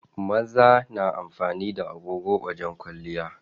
Maza na amfani da agogo wajen kwalliya.